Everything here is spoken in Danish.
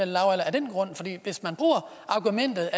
hvis man bruger argumentet